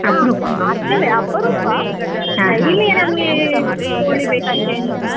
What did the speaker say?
ಮಾಡ್ತೇವೆ ಅಪರೂಪ daily ಯೇ ನಮಗೆ ಕೋಳಿ ಬೇಕಂತ ಏನ್ ಇಲ್ಲ.